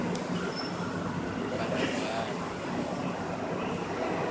baragwana